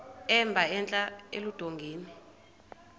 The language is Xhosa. emba entla eludongeni